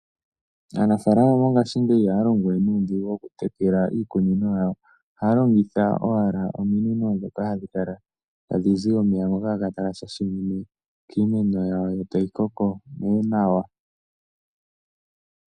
Aanafalama mongashingeyi ihaya longo we nuudhigu mokutekela iikunino yawo. Ohaya longitha owala ominino ndhoka hadhi kala tadhi zi omeya ngoka haga kala taga shashamine kiimeno yawo yo tayi koko nee nawa.